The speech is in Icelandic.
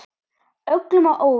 Öllum á óvart.